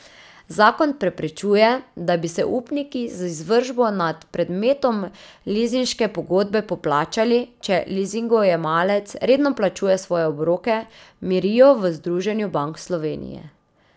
Zakon preprečuje, da bi se upniki z izvršbo nad predmetom lizinške pogodbe poplačali, če lizingojemalec redno plačuje svoje obroke, mirijo v Združenju bank Slovenije.